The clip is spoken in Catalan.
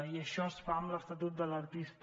i això es fa amb l’estatut de l’artista